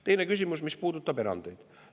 Teine küsimus, mis puudutab erandeid.